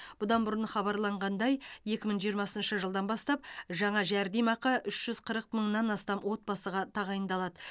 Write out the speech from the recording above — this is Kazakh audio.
бұдан бұрын хабарланғандай екі мың жиырмасыншы жылдан бастап жаңа жәрдемақы үш жүз қырық мыңнан астам отбасыға тағайындалады